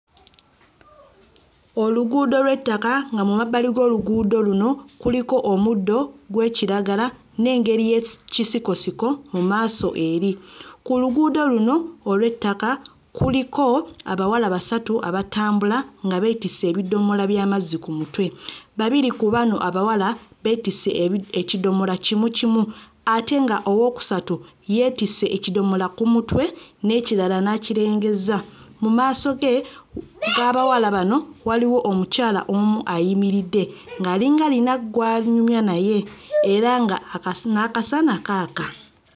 Oluguudo lw'ettaka nga mu mabbali g'oluguudo luno kuliko omuddo gw'ekiragala n'engeri y'eki sikosiko mu maaso eri. Ku luguudo luno olw'ettaka kuliko abawala basatu abatambula nga beetisse ebidomola by'amazzi ku mutwe babiri ku bano abawala beetisse ebi ekidomola kimu kimu ate nga owookusatu yeetisse ekidomola ku mutwe n'ekirala n'akirengezza. Mu maaso ge mm g'abawala bano waliwo omukyala omu ayimiridde ng'alinga ayina gw'anyumya naye era nga akasa n'akasana kaaka.